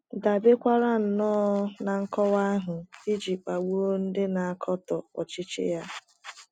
dabekwaara nnọọ ná nkọwa ahụ iji kpagbuo ndị na - akatọ ọchịchị ya.